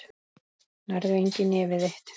Nærðu engu í nefið þitt.